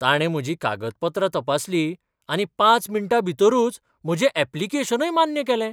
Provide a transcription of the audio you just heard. ताणें म्हजीं कागदपत्रां तपासलीं आनी पांच मिण्टाभितरूच म्हजें ऍप्लिकेशन मान्य केलें.